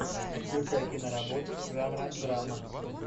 включай киноработу жанра драма